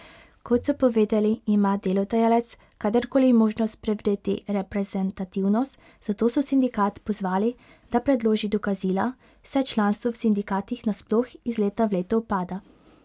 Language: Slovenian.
Kot so povedali, ima delodajalec kadarkoli možnost preveriti reprezentativnost, zato so sindikat pozvali, da predloži dokazila, saj članstvo v sindikatih nasploh iz leta v leto upada.